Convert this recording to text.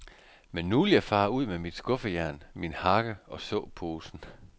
Men nu vil jeg fare ud med mit skuffejern, min hakke og såposen.